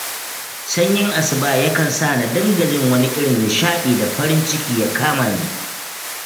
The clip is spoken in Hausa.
Sanyin asuba yakan sa na dinga jin wani irin nishaɗi da farin ciki ya kama ni.